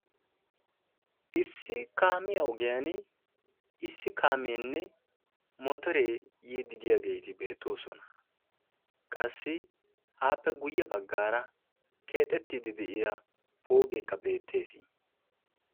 Issi kaamiya ogiyan issi kaameenne motoree yiiddi diyageeti beettoosona. Qassi appe guyye baggaara keexettiiddi de'iya pooqeekka beettees.